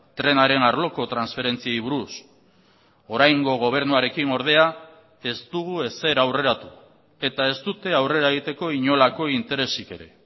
trenaren arloko transferentziei buruz oraingo gobernuarekin ordea ez dugu ezer aurreratu eta ez dute aurrera egiteko inolako interesik ere